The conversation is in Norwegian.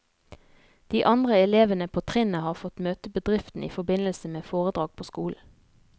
De andre elevene på trinnet har fått møte bedriften i forbindelse med foredrag på skolen.